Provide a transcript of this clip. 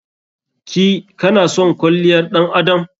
Ki/ka na son kwalliyar ɗan adam?